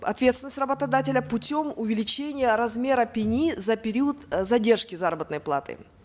ответственность работодателя путем увеличения размера пени за период э задержки заработной платы